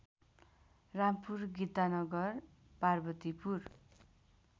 Rampur Gitanagar Parvatipur